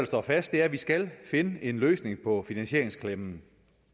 står fast er at vi skal finde en løsning på finansieringsklemmen